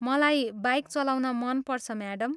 मलाई बाइक चलाउन मन पर्छ, म्याडम।